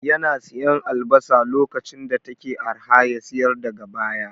Yana siyan albasa lokacin da take arha ya siyar daga baya